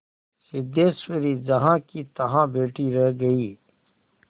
सिद्धेश्वरी जहाँकीतहाँ बैठी ही रह गई